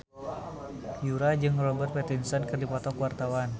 Yura jeung Robert Pattinson keur dipoto ku wartawan